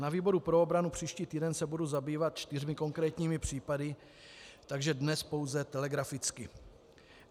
Na výboru pro obranu příští týden se budu zabývat čtyřmi konkrétními případy, takže dnes pouze telegraficky.